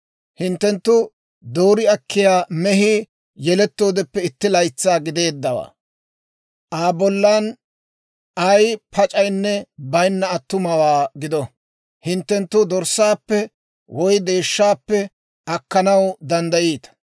Hinttenttu doori akkiyaa mehii yelettoodeppe itti laytsaa giddeeddawaa, Aa bollan ay pac'aynne baynna attumawaa gido. Hinttenttu dorssaappe woy deeshshaappe akkanaw danddayiita.